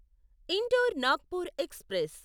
indoor Nagpur express